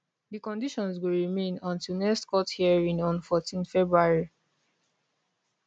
di conditions go remain until next court hearing on 14 february